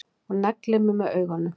Og neglir mig með augunum.